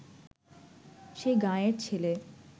সে গাঁয়ের ছেলে